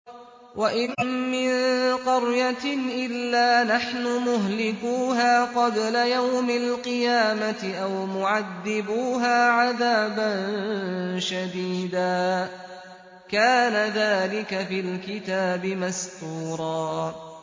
وَإِن مِّن قَرْيَةٍ إِلَّا نَحْنُ مُهْلِكُوهَا قَبْلَ يَوْمِ الْقِيَامَةِ أَوْ مُعَذِّبُوهَا عَذَابًا شَدِيدًا ۚ كَانَ ذَٰلِكَ فِي الْكِتَابِ مَسْطُورًا